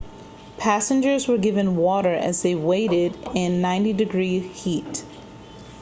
passengers were given water as they waited in 90f-degree heat